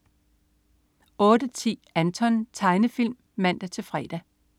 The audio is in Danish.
08.10 Anton. Tegnefilm (man-fre)